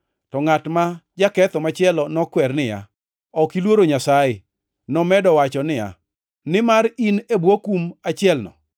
To ngʼat ma jaketho machielo nokwere niya, “Ok iluoro Nyasaye, nomedo wachoni, nimar in e bwo kum achielno?